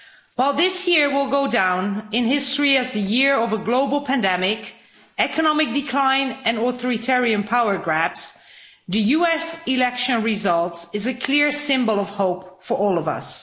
While this year will go down in history as the year of a global pandemic, economic decline and authoritarian power grabs, the US election result is a clear symbol of hope for all of us.